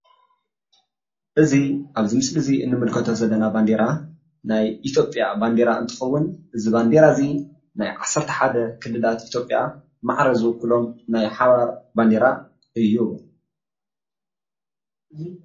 እዚ ኣብዚ ምስሊ እዙይ እንምልከቶ ዘለና ባንዴራ ናይ ኢትዮጵያ ባንዴራ እንትኸውን እዚ ባንዴራ እዙይ ናይ ዓሰርተሓደ ክልላት ኢትዮጵያ ማዕረ ዝውክሎም ናይ ሓባር ባንዴራ እዩ።